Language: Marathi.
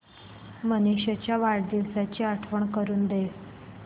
मनीष च्या वाढदिवसाची आठवण करून दे